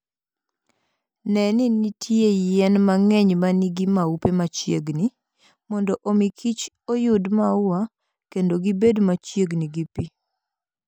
Ne ni nitie yien mang'eny ma nigi maupe machiegni, mondo omikich oyud maua, kendo gibed machiegni gi pi.